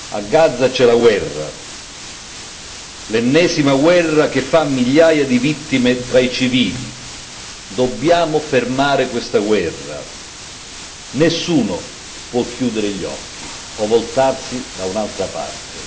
A Gaza c'è la guerra, l'ennesima guerra che fa migliaia di vittime tra i civili. Dobbiamo fermare questa guerra! Nessuno può chiudere gli occhi o voltarsi da un'altra parte.